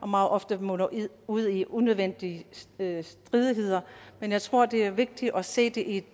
meget ofte munder ud i unødvendige stridigheder men jeg tror det er vigtigt at se det i et